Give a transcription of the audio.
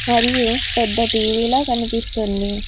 మరియు పెద్ద టీ_వీ లో కనిపిస్తుంది.